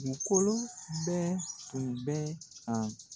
U kolo bɛɛ tun bɛ ka